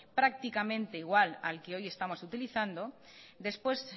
prácticamente igual al que hoy estamos utilizando después